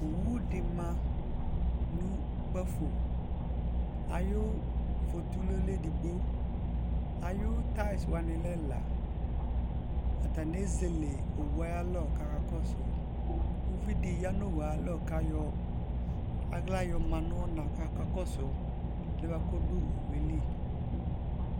owodima nɔkpaƒo ayouƒotoulou lɛeɖigboayoutyes wslɛela atsni ezeleowoualɔ kakɔsououviɖi kayɔalɣa yoyano ɔnakɔkakɔsou ɛɖiɛkɔɖɔowoeli